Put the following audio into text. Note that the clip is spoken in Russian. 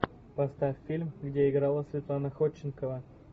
поставь фильм где играла светлана ходченкова